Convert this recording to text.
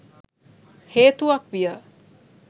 හේතුවක් විය.